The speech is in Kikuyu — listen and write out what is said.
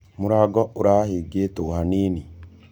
Mũrango ũrahĩngĩtwo hanĩnĩ.